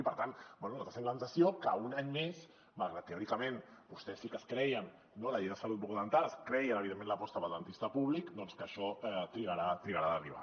i per tant bé nosaltres tenim la sensació que un any més malgrat que teòricament vostès sí que es creien la llei de salut bucodental es creien evidentment l’aposta pel dentista públic això trigarà a arribar